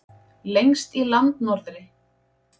Lengst í landnorðri.